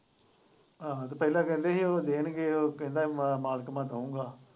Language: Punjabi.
ਆਹੋ ਤੇ ਪਹਿਲਾਂ ਕਹਿੰਦੇ ਹੀ ਉਹ ਦੇਣਗੇ ਉਹ ਕਹਿੰਦਾ ਮੇਰਾ ਮਾਲਕ ਮੰਨਦਾ ਨਹੀਂ ਪਿਆ।